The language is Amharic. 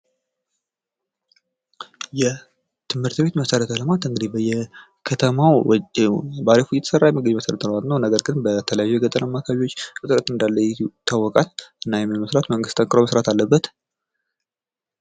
የትምህርት ቤት መሰረተ ልማት እንግዲህ በየከተማው እየተሰራ የሚገኝ መሰረተ ልማት ነው ነገር ግን በተለያዩ የገጠር አማርኛ አከባቢዎች እጥረት እንዳለ ይታወቃል እና ይህንንም ለመስራት መንግስት ጠንቁሮ መስራት አለበት።